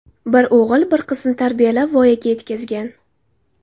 Bir o‘g‘il, bir qizni tarbiyalab, voyaga yetkazgan.